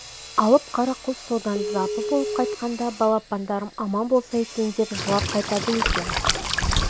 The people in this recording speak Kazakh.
алып қара құс содан запы болып қайтқанда балапандарым аман болса екен деп жылап қайтады екен